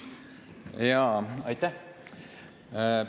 Jaa, aitäh!